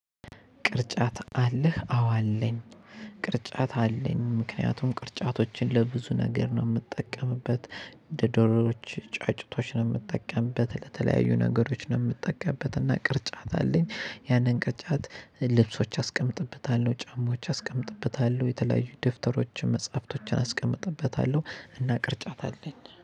ቅርጫት አለህ አዎ አለኝ። ቅርጫት አለኝ ምክንያቱም ቅርጫቶችን ለብዙ ነገር ነው የምጠቀምበት እንደ ዶሮዎች ጫጩቶች ነው የምጠቀምበት ለተለያዩ ነገሮች ነው የምጠቀምበት። እና ቅርጫት አለኝ ያንን ቅርጫት ልብሶች አስቀምጥበታለሁ ጫማዎች አስቀምጥበታለሁ የተለያዩ ደብተሮች መጽሐፍቶችን አስቀምጥበታለሁ እና ቅርጫት አለኝ